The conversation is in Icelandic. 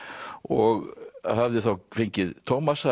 og hafði þá fengið